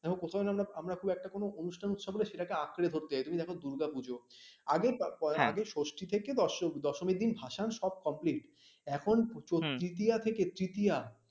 কোথায় না একটা পুরো একটা অনুষ্ঠান থাকলে সেটাকে আঁকড়ে ধরতে চাই তুমি দেখো দুর্গাপুজো আগে ষষ্ঠী ষষ্ঠী থেকে দশমী ভাসান সব complete এখন তৃতীয়া থেকে তৃতীয়া